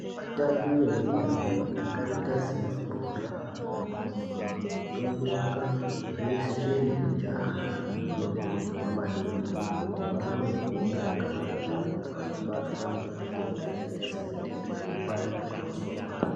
Vatambo vemitambo yakaita semabhora, kurumba, kutomuka zveshe nekujaha vanokurudzirwa maningi kuti vamwe mvura yakawanda kuti vasabatwe ngematenda akaita sematenda ekupanda kwemusori.